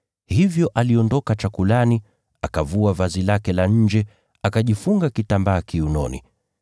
hivyo aliondoka chakulani, akavua vazi lake la nje, akajifunga kitambaa kiunoni.